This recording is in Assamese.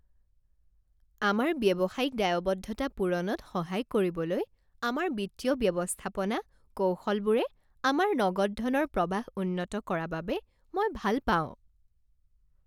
আমাৰ ব্যৱসায়িক দায়বদ্ধতা পূৰণত সহায় কৰিবলৈ আমাৰ বিত্তীয় ব্যৱস্থাপনা কৌশলবোৰে আমাৰ নগদ ধনৰ প্ৰৱাহ উন্নত কৰা বাবে মই ভাল পাওঁ।